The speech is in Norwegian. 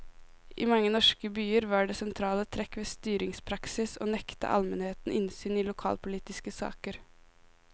I mange norske byer var det sentrale trekk ved styringspraksis å nekte almenheten innsyn i lokalpolitiske saker.